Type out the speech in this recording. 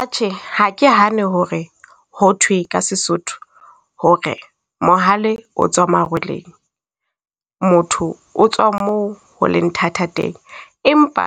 Atjhe, ha ke hane ho re ho thwe ka Sesotho hore mohale o tswa marwoleng, motho o tswa mo holeng thata teng. Empa